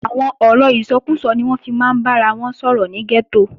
Àwọn ọ̀rọ̀ ìsọkúsọ ni wọ́n máa ń fi bára wọn sọ̀rọ̀ ní gẹ́tò